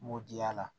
N m'o di yala